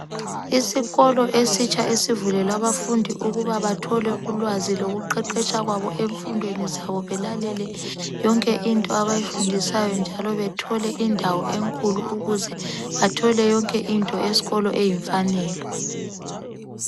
Isikolo esitsha esivulelwe abafundi ukuba bathole ulwazi lokuqeqetsha kwabo emfundweni zabo belalele yonke into abayifundiswayo njalo bethole indawo enkulu ukuze bathole yonke into esikolo eyimfanelo